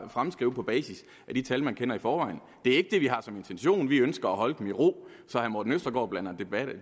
fremskrive på basis af de tal man kender i forvejen det er ikke det vi har som intention vi ønsker at holde dem i ro så herre morten østergaard blander